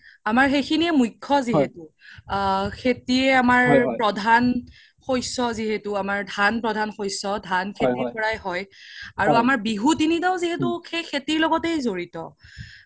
আমাৰ সিখিনিয়ে মুখ্য যিহেতো আ খেতি আমাৰ প্ৰধান শস্য যিহেতো আমাৰ ধান প্ৰধান শস্য ধান খেতিৰ পৰায়ে হয় আৰু আমাৰ বিহু তিনিতাও যিহেতো সেই খেতিৰ লগ্তেই জৰিত